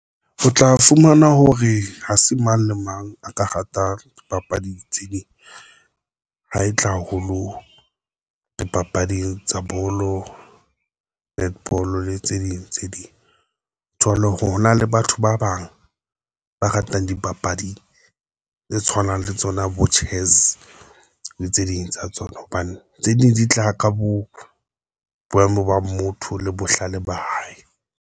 O tla fumana hore ha se mang le mang a ka rata dipapadi tse ding, ha e tla haholo dipapading tsa bolo, netball le tse ding tse ding, jwalo hore hona le batho ba bang ba ratang dipapadi tse tshwanang le tsona bo Chess le tse ding tsa tsona, hobane tse ding di tla ka bo boemo ba motho le bohlale ba hae.